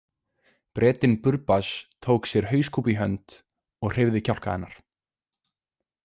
Bretinn Burbage tók sér hauskúpu í hönd og hreyfði kjálka hennar.